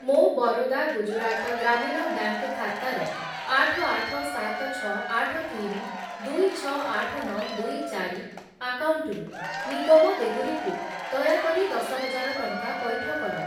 ମୋ ବରୋଦା ଗୁଜୁରାଟ ଗ୍ରାମୀଣ ବ୍ୟାଙ୍କ୍‌ ଖାତାର ଆଠ, ଆଠ, ସାତ, ଛଅ, ଆଠ, ତିନି, ଦୁଇ, ଛଅ, ଆଠ, ନଅ, ଦୁଇ, ଚାରି ଆକାଉଣ୍ଟରୁ ନିଗମ ଦେହୁରୀ କୁ ଦୟାକରି ଦଶ ହଜାର ଟଙ୍କା ପଇଠ କର।